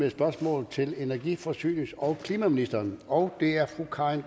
et spørgsmål til energi forsynings og klimaministeren og det er fru karin